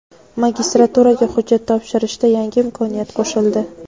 Magistraturaga hujjat topshirshda yangi imkoniyat qo‘shildi.